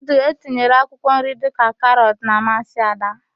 Nudul etinyere akwụkwọnri dịka karọt na-amasị Ada.